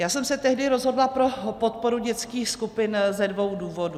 Já jsme se tehdy rozhodla pro podporu dětských skupin ze dvou důvodů.